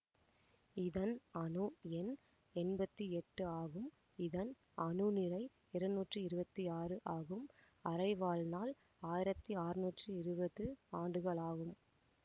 இதன் அணு எண் எம்பத்தி எட்டு ஆகும்இதன் அணுநிறை இருநூற்றி இருவத்தி ஆறு ஆகும்அரைவாழ்நாள் ஆயிரத்தி ஆற்நூற்றி இருவது ஆண்டுகளாகும்